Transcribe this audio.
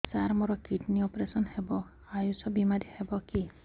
ସାର ମୋର kidney operation ହେବ ଆୟୁଷ ବିମାରେ ହେବ କି